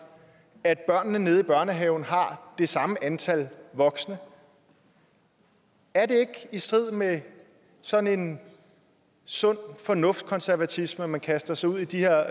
at børnene nede i børnehaven har det samme antal voksne er det ikke i strid med sådan en sund fornuft konservatisme at man kaster sig ud i de her